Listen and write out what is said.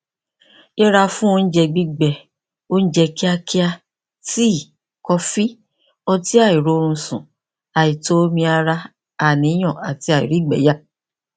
yẹra fún oúnjẹ gbígbẹ oúnjẹ kíákíá tii kọfí ọtí àìróorunsùn àìtó omi ara àníyàn àti àìrígbẹyà